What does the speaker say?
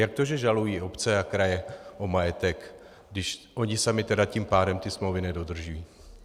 Jak to, že žalují obce a kraje o majetek, když ony samy tím pádem ty smlouvy nedodržují?